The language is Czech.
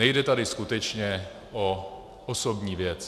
Nejde tady skutečně o osobní věc.